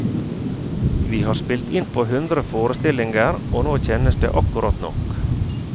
Vi har spilt innpå hundre forestillinger og nå kjennes det akkurat nok.